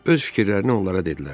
Öz fikirlərini onlara dedilər.